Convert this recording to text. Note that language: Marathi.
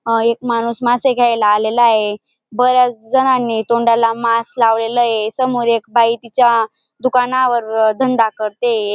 अ एक माणूस मासे घ्यायला आलेला आहे बऱ्याच जणांनी तोंडाला मास्क लावलेला ये समोर एक बाई तिच्या दुकानावर धंदा करतेये.